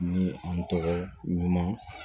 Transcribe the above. Ni an tɔgɔ ɲuman